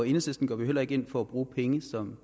enhedslisten går vi heller ikke ind for at bruge penge som